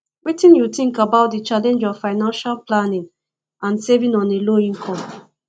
wetin you think about di challenge of financial planning and saving on a low income